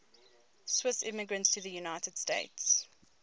swiss immigrants to the united states